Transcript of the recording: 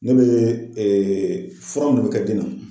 Ne bɛ fura ninnu bɛ kɛ den na.